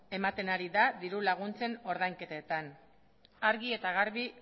ematen ari da diru laguntzen ordainketetan argi eta garbi